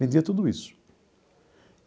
Vendia tudo isso.